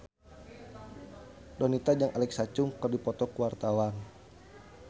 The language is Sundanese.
Donita jeung Alexa Chung keur dipoto ku wartawan